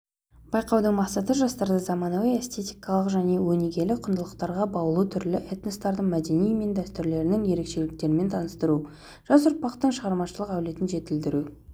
байқаудың мақсаты жастарды заманауи эстетикалық және өнегелі құндылықтарға баулу түрлі этностардың мәдениеті мен дәстүрлерінің ерекшеліктерімен таныстыру жас ұрпақтың шығармашылық әлеуетін жетілдіру